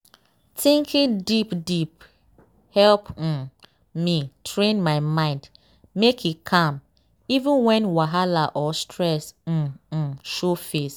thinking deep deep dey help um me train my mind make e calm even when wahala or stress um um show face.